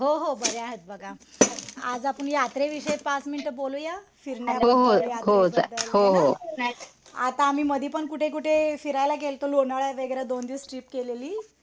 हो हो बऱ्या आहेत बघा. आज आपण यात्रे विषयी पाच मिनटं बोलूया? फिरण्याबद्दल, यात्रेबद्दल हो ना? आता आम्ही मध्ये मध्ये पण कुठे फिरायला गेलतो लोणावळा वगैरे दोन दिवस ट्रिप केलेली.